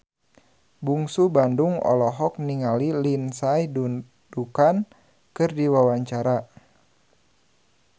Bungsu Bandung olohok ningali Lindsay Ducan keur diwawancara